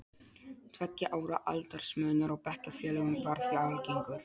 Tveggja ára aldursmunur á bekkjarfélögum var því algengur.